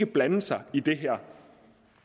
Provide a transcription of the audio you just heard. blande sig i det her